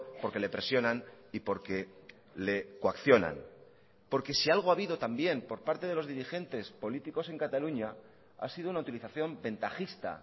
porque le presionan y porque le coaccionan porque si algo ha habido también por parte de los dirigentes políticos en cataluña ha sido una utilización ventajista